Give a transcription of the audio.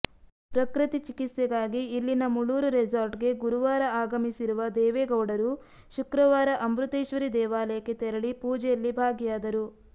ಪ್ರಕೃತಿ ಚಿಕಿತ್ಸೆಗಾಗಿ ಇಲ್ಲಿನ ಮೂಳೂರು ರೆಸಾರ್ಟ್ಗೆ ಗುರುವಾರ ಆಗಮಿಸಿರುವ ದೇವೇಗೌಡರು ಶುಕ್ರವಾರ ಅಮೃತೇಶ್ವರಿ ದೇವಾಲಯಕ್ಕೆ ತೆರಳಿ ಪೂಜೆಯಲ್ಲಿ ಭಾಗಿಯಾದರು